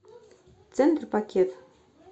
центр пакет